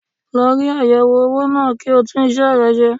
Lọ rí ayẹwo owó náà kí o tún isẹ rẹ ṣe.